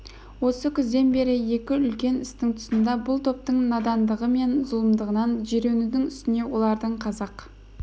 осы күзден бері екі үлкен істің тұсында бұл топтың надандығы мен зұлымдығынан жиренудің үстіне олардың қазақ